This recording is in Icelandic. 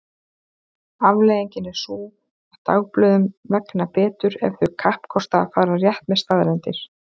Afleiðingin er sú að dagblöðum vegnar betur ef þau kappkosta að fara rétt með staðreyndir.